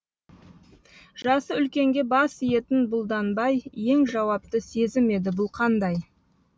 жасы үлкенге бас иетін бұлданбай ең жауапты сезім еді бұл қандай